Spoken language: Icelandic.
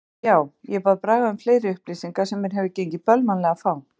Já, ég bað Braga um fleiri upplýsingar sem mér hefur gengið bölvanlega að fá.